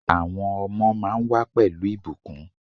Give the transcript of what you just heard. Àwọn ọmọ máa ń wà pẹ̀lú ìbùkún.